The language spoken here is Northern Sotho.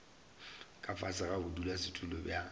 ka fase ga bodulasetulo bja